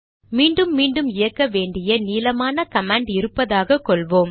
மீண்டும் மீண்டும் இயக்க வேண்டிய நீளமான கமாண்ட் இருப்பதாக கொள்வோம்